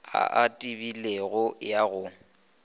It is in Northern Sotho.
a a tebilego ya go